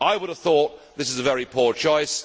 I would have thought this is a very poor choice.